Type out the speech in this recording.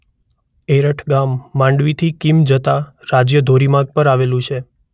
અરેઠ ગામ માંડવીથી કીમ જતા રાજ્ય ધોરી માર્ગ પર આવેલું છે.